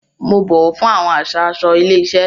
Mo bọwọ fún awọn àṣà aṣọ ilé iṣẹ.